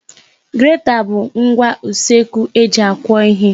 Greta bụ ngwa usekwu eji akwọ ihe.